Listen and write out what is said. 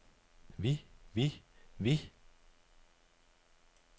vi vi vi